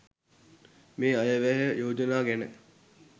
මේ අයවැය යෝජනා ගැන